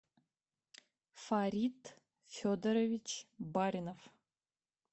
фарид федорович баринов